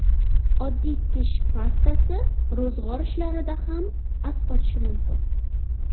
Oddiy tish pastasi ro‘zg‘or ishlarida ham asqotishi mumkin .